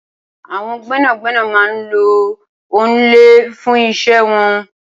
Awọn gbẹnágbẹná má n ló òònlẹ fùn iṣẹ̀ wọn